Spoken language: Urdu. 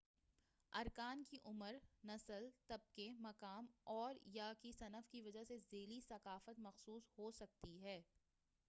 ارکان کی عمر نسل طبقے مقام اور / یا صنف کی وجہ سے ذیلی ثقافت مخصوص ہوسکتی ہے